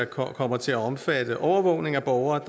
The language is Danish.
kommer til at omfatte overvågning af borgere